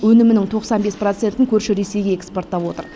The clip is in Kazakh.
өнімнің тоқсан бес процентін көрші ресейге экспорттап отыр